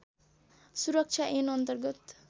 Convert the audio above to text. सुरक्षा ऐन अन्तर्गत